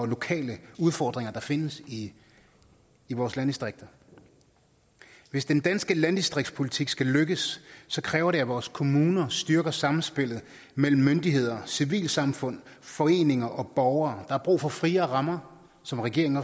lokale udfordringer der findes i i vores landdistrikter hvis den danske landdistriktspolitik skal lykkes kræver det at vores kommuner styrker samspillet mellem myndigheder civilsamfund foreninger og borgere der er brug for friere rammer som regeringen